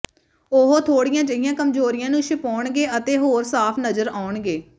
ਉਹ ਥੋੜ੍ਹੀਆਂ ਜਿਹੀਆਂ ਕਮਜ਼ੋਰੀਆਂ ਨੂੰ ਛੁਪਾਉਣਗੇ ਅਤੇ ਹੋਰ ਸਾਫ ਨਜ਼ਰ ਆਉਣਗੇ